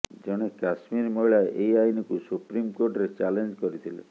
କଣେ କଶ୍ମୀର ମହିଳା ଏହି ଆଇନକୁ ସୁପ୍ରିମକୋର୍ଟରେ ଚ୍ୟାଲେଞ୍ଜ କରିଥିଲେ